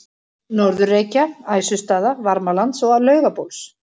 Norður-Reykja, Æsustaða, Varmalands og Laugabóls.